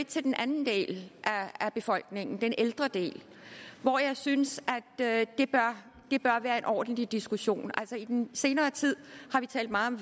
til den anden del af befolkningen den ældre del og jeg synes at det bør være en ordentlig diskussion i den senere tid har vi talt meget om